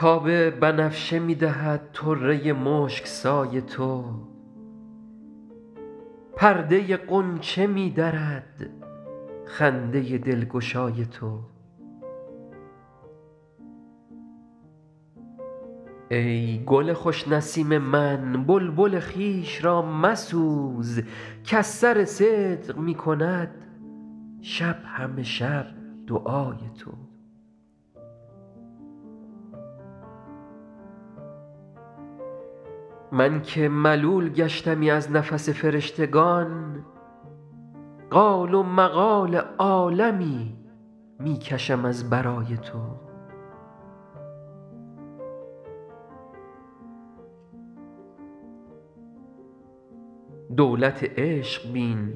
تاب بنفشه می دهد طره مشک سای تو پرده غنچه می درد خنده دلگشای تو ای گل خوش نسیم من بلبل خویش را مسوز کز سر صدق می کند شب همه شب دعای تو من که ملول گشتمی از نفس فرشتگان قال و مقال عالمی می کشم از برای تو دولت عشق بین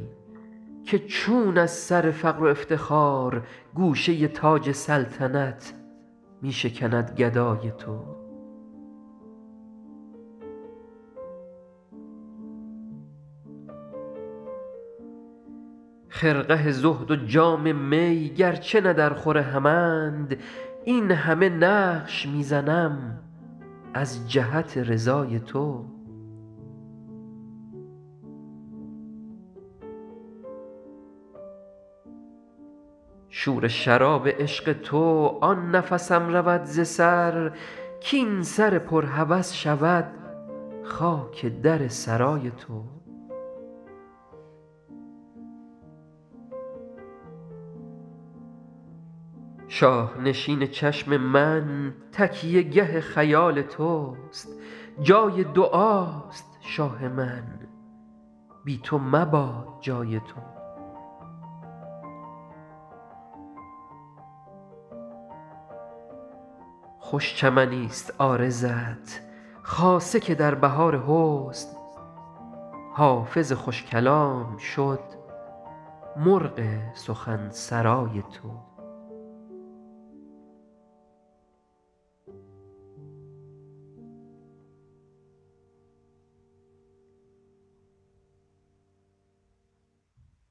که چون از سر فقر و افتخار گوشه تاج سلطنت می شکند گدای تو خرقه زهد و جام می گرچه نه درخور همند این همه نقش می زنم از جهت رضای تو شور شراب عشق تو آن نفسم رود ز سر کاین سر پر هوس شود خاک در سرای تو شاه نشین چشم من تکیه گه خیال توست جای دعاست شاه من بی تو مباد جای تو خوش چمنیست عارضت خاصه که در بهار حسن حافظ خوش کلام شد مرغ سخن سرای تو